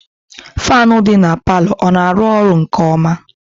Fanu kwụ ọtọ dị n'palo, ọ na arụ ọrụ nke ọma?